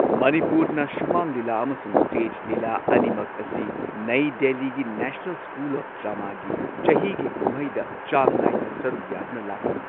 ꯃꯅꯤꯄꯨꯔꯅ ꯁꯨꯃꯥꯡ ꯂꯤꯂꯥ ꯑꯃꯁꯨꯡ ꯁ꯭ꯇꯦꯖ ꯂꯤꯂꯥ ꯑꯅꯤꯃꯛ ꯑꯁꯤ ꯅꯩ ꯗꯦꯜꯂꯤꯒꯤ ꯅꯦꯁꯅꯦꯜ ꯁ꯭ꯀꯨꯜ ꯑꯣꯐ ꯗ꯭ꯔꯃꯥꯒꯤ ꯆꯍꯤꯒꯤ ꯀꯨꯝꯍꯩ ꯆꯥꯡ ꯅꯥꯏꯅ ꯁꯔꯨꯛ ꯌꯥꯗꯨꯅ ꯂꯥꯛꯂꯤ꯫